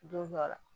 Don dɔ la